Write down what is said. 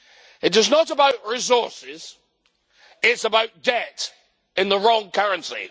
It is not about resources, it is about debt in the wrong currency.